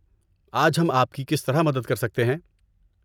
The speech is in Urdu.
آج ہم آپ کی کس طرح مدد کر سکتے ہیں؟